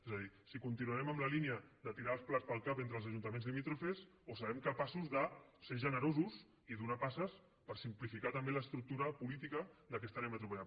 és a dir si continuarem en la línia de tirar els plats pel cap entre els ajuntaments limítrofes o serem capaços de ser generosos i donar passes per simplificar també l’estructura política d’aquesta àrea metropolitana